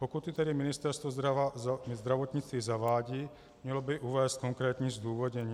Pokud ji tedy Ministerstvo zdravotnictví zavádí, mělo by uvést konkrétní zdůvodnění.